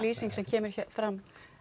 lýsing sem kemur fram